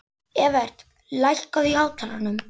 Evert, lækkaðu í hátalaranum.